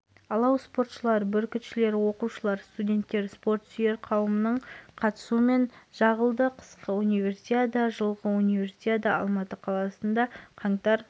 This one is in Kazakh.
спорт шебері әлемнің екі дүркін чемпионы ибрагим берсанов қазақстан республикасының ауыр атлетикадан халықаралық санаттағы спорт